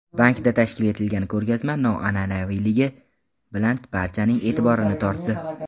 Bankda tashkil etilgan ko‘rgazma noan’anaviyligi bilan barchaning e’tiborini tortdi.